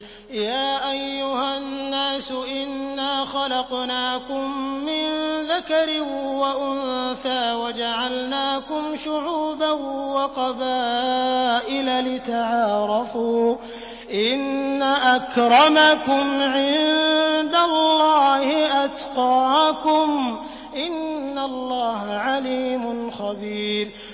يَا أَيُّهَا النَّاسُ إِنَّا خَلَقْنَاكُم مِّن ذَكَرٍ وَأُنثَىٰ وَجَعَلْنَاكُمْ شُعُوبًا وَقَبَائِلَ لِتَعَارَفُوا ۚ إِنَّ أَكْرَمَكُمْ عِندَ اللَّهِ أَتْقَاكُمْ ۚ إِنَّ اللَّهَ عَلِيمٌ خَبِيرٌ